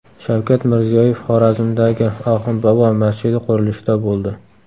Shavkat Mirziyoyev Xorazmdagi Oxund bobo masjidi qurilishida bo‘ldi.